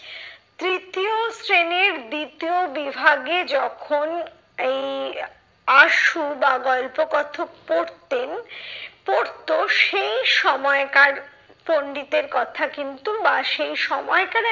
তৃতীয় শ্রেণীর দ্বিতীয় বিভাগে যখন এই আশু বা গল্প কথক পড়তেন পড়তো সেই সময়কার পন্ডিতের কথা কিন্তু বা সেই সময়কার